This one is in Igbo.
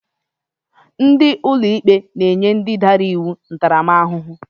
Ndị ụlọikpe na-enye ndị dara iwu ntaramahụhụ.